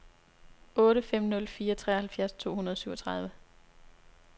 otte fem nul fire treoghalvfjerds to hundrede og syvogtredive